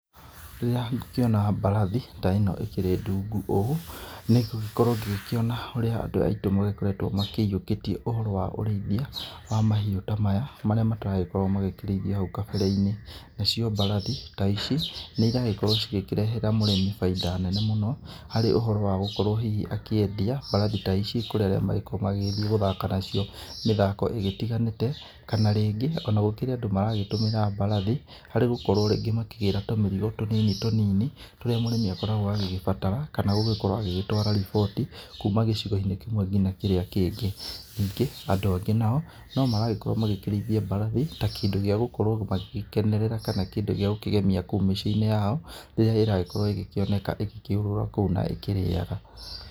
Rĩrĩa ngũkĩona mbarathi ta ĩno ĩkĩrĩ ndungũ ũũ nĩ ngũgĩkorwo ngĩkĩona ũrĩa andũ aitũ magĩkoretwo maiyũkĩtie ũhoro wa ũrĩithia wa mahiũ ta maya marĩa mataragĩkoragwo makĩriithio hau kabere-inĩ. Nacio mbarathi ta ici nĩ iragĩkorwo cigĩkĩrehera mũrimĩ bainda nene mũno harĩ ũhoro wa gũkorwo hihi akĩendia mbarathi ta ici kurĩa arĩa magĩkoragwo magithiĩ gũthaka nacio mĩthako ĩgĩtiganĩte. Kana rĩngĩ kũrĩ andũ maragĩtũmĩra mbarathi harĩ gũkorwo makĩgĩra tũmĩrigo tũnini tũnini tũrĩa mũrĩmi agĩgĩkoragwo agĩbatara, kana gũgĩkorwo agĩgĩtwara riboti kuma gĩcigo-inĩ kĩmwe ngina kĩrĩra kĩngĩ. Ningĩ andũ angĩ nao no maragĩkorwo magĩkĩrĩithia mbarathi ta kĩndũ gĩa gũkorwo magĩgĩkenerera kana kĩndũ gĩa gũkĩgemia kũu mĩciĩ-inĩ yao rĩrĩa ĩragĩkorwo ĩgĩkĩoneka ĩgĩkĩũrũra kũu na ĩkĩrĩaga.